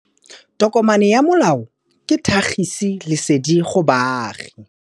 Tokomane ya molao ke tlhagisi lesedi go baagi.